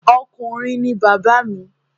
Ọkùnrin ni bàbá mi.